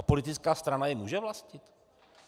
A politická strana je může vlastnit?